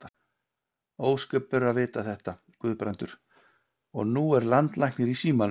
Ósköp eru að vita þetta, Guðbrandur, og nú er landlæknir í símanum.